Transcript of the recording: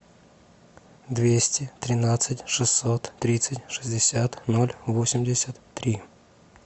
двести тринадцать шестьсот тридцать шестьдесят ноль восемьдесят три